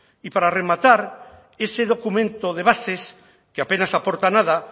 y para rematar ese documento de bases que apenas aporta nada